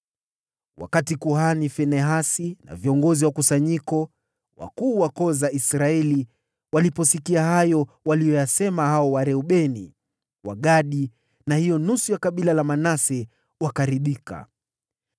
Wakati kuhani Finehasi na viongozi wa kusanyiko na wakuu wa koo za Israeli, waliposikia hayo waliyosema Wareubeni, Wagadi na Manase, wakaridhika.